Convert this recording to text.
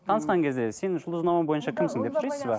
танысқан кезде сен жұлдызнамаң бойынша кімсің деп сұрайсыз ба